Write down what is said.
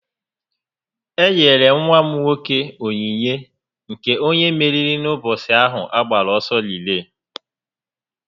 E nyere nwa m nwoke ònyìnyé nke onye mmeri n'ụbọchị ahu a gbara ọsọ rilee